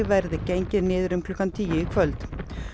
verði gengið niður um klukkan tíu í kvöld